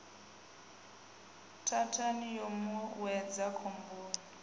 thathani yo mu wedza khomboni